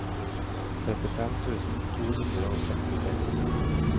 trettifem tusen to hundre og sekstiseks